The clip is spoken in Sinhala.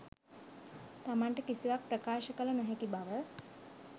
තමන්ට කිසිවක් ප්‍රකාශ කළ නොහැකි බව